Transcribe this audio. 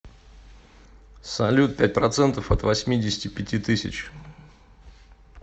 салют пять процентов от восьмидесяти пяти тысяч